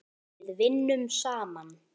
Við vinnum saman!